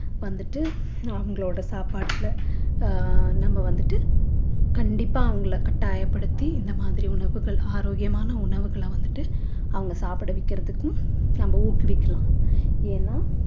வந்துட்டு அவங்களோட சாப்பாட்டில அஹ் நம்ப வந்துட்டு கண்டிப்பா அவங்கள கட்டாயப்படுத்தி இந்த மாதிரி உணவுகள் ஆரோக்கியமான உணவுகள வந்துட்டு அவங்க சாப்பிட வைக்கிறதுக்கும் நம்ம ஊக்குவிக்கலாம் ஏன்னா